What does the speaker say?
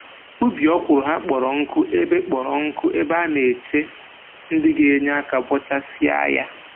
Ubi ọkwụrụ ha kpọrọ nkụ ebe kpọrọ nkụ ebe a na-eche ndị ga-enye aka bọchasịa ya